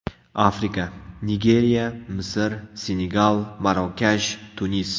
Afrika: Nigeriya, Misr, Senegal, Marokash, Tunis.